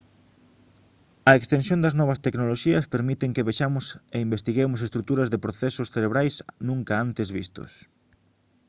a extensión das novas tecnoloxías permiten que vexamos e investiguemos estruturas e procesos cerebrais nunca antes vistos